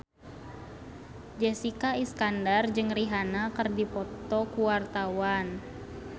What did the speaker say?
Jessica Iskandar jeung Rihanna keur dipoto ku wartawan